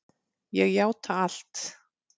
Ég játa allt